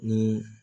Ni